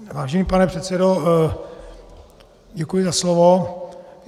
Vážený pane předsedo, děkuji za slovo.